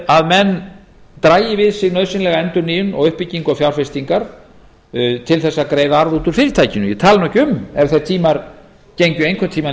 að menn dragi við sig nauðsynlega endurnýjun og uppbyggingu og fjárfestingar átt að greiða arð út úr fyrirtækinu ég tala ekki um ef þeir tímar gengju einhvern tíma í